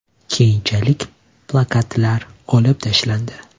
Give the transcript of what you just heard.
Keyinchalik plakatlar olib tashlandi.